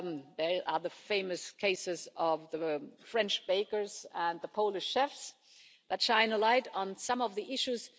There are the famous cases of the French bakers and the Polish chefs that shine a light on some of the issues.